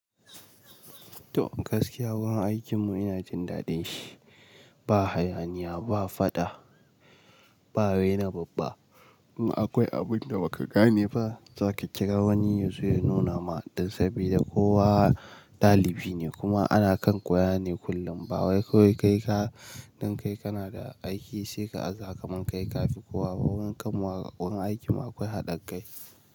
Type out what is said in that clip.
To gaskiya wurin aikinmu ina jin daɗin shi. Ba hayaniya, ba faɗa, ba raina babba. In akwai abin da baka gane ba, za ka kira wani ya zo ya nuna ma dan saboda kowa ɗalibi ne kuma ana kan koya ne kullum. Ba wai kai kaɗai kana da aiki sai ka aza kai ka fi kowa. Ba wurin kamwar akwai haɗin kai.